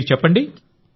మీరు చెప్పండి